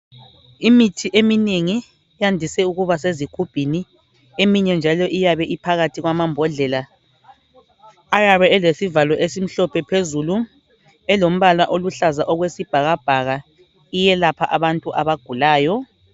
Imithi eminengi yandise ukuba sezigubhini. Eminye njalo iybe iphakathi kwamambodlela, ayabe elesivalo esimhlophe phezulu, elombala oluhlaza okwesibhakabhaka. Iyelapha abantu abagulayo.